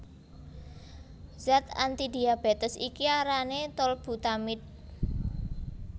Zat antidiabetes iki arané tolbutamide